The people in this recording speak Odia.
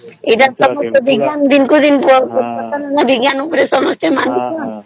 ଏତା ତା ଡାଉଛନ ସମସ୍ତେ ଦିନକୁ ଦିନକୁ ବିଜ୍ଞାନ ଉପରେ ସମସ୍ତେ ମାନୁଛନ